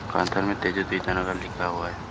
Counter में लिखा हुआ है।